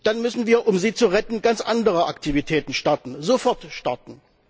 Dann müssen wir, um sie zu retten, ganz andere Aktivitäten starten, sofort starten.